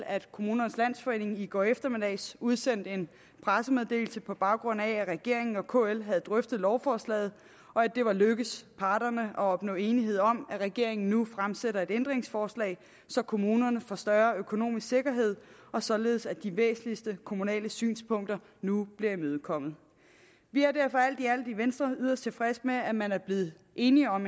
at kommunernes landsforening i går eftermiddags udsendte en pressemeddelelse på baggrund af at regeringen og kl havde drøftet lovforslaget og at det var lykkedes parterne at opnå enighed om at regeringen nu stiller et ændringsforslag så kommunerne får større økonomisk sikkerhed og således at de væsentligste kommunale synspunkter nu bliver imødekommet vi er derfor alt i alt i venstre yderst tilfredse med at man er blevet enig om